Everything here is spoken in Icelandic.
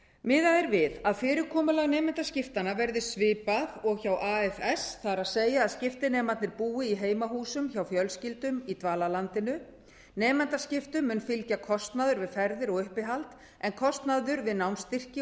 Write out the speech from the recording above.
miðað er við að fyrirkomulag nemendaskiptanna verði svipað og hjá afs það er að skiptinemarnir búi í heimahúsum hjá fjölskyldum í dvalarlandinu nemendaskiptum mun fylgja kostnaður við ferðir og uppihald en kostnaður við námsstyrki